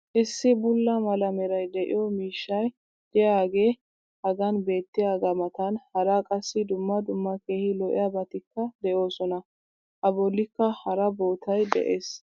issi bulla mala meray de'iyo miishshay diyaagee hagan beetiyaagaa matan hara qassi dumma dumma keehi lo'iyaabatikka de'oosona. a bolikka hara boottabay de'ees.